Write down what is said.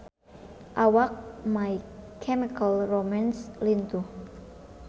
Awak My Chemical Romance lintuh